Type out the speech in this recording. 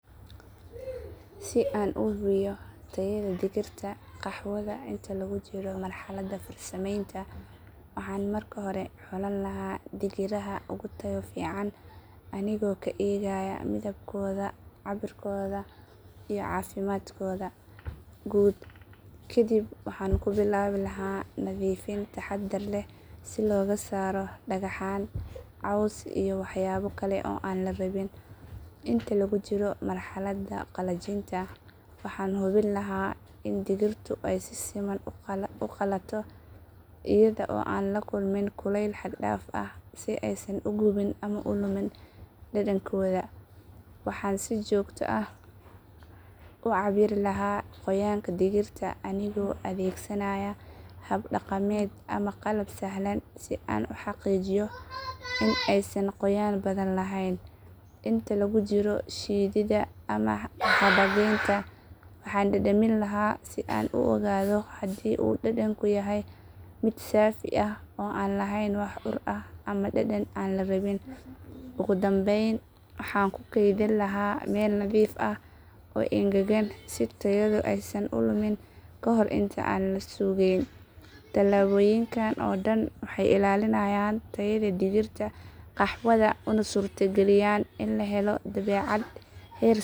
Si aan u hubiyo tayada digirta qaxwada inta lagu jiro marxaladda farsamaynta waxaan marka hore xulan lahaa digiraha ugu tayo fiican anigoo ka eegaya midabkooda, cabirkooda iyo caafimaadkooda guud. Kadib waxaan ku bilaabi lahaa nadiifin taxaddar leh si looga saaro dhagxaan, caws iyo waxyaabo kale oo aan la rabin. Inta lagu jiro marxaladda qalajinta waxaan hubin lahaa in digirtu ay si siman u qalato iyada oo aan la kulmin kulayl xad dhaaf ah si aysan u gubin ama u lumin dhadhankooda. Waxaan si joogto ah u cabbiri lahaa qoyaanka digirta anigoo adeegsanaya hab dhaqameed ama qalab sahlan si aan u xaqiijiyo in aysan qoyaan badan lahayn. Inta lagu jiro shiididda ama xabageynta, waxaan dhadhamin lahaa si aan u ogaado haddii uu dhadhanku yahay mid saafi ah oo aan lahayn wax ur ah ama dhadhan aan la rabin. Ugu dambeyn, waxaan ku kaydin lahaa meel nadiif ah oo engegan si tayadu aysan u lumin kahor inta aan la suuqgeyn. Tallaabooyinkan oo dhan waxay ilaaliyaan tayada digirta qaxwada una suurtageliyaan in la helo badeecad heer sare ah.